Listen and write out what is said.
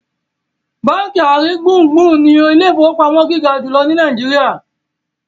bánkì aringbungbun ní Ilé ìfowópamọ́ gíga jùlọ ní Nàìjíríà.